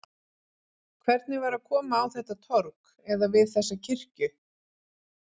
Hvernig var að koma á þetta torg, eða við þessa kirkju?